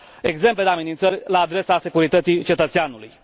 exemple de amenințări la adresa securității cetățeanului.